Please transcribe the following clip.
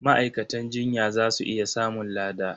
Ma'aikatan jinya za su iya samun lada.